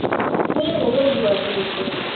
kuye ngokwenziwa kuhle